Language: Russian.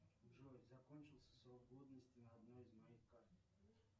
джой закончился срок годности на одной из моих карт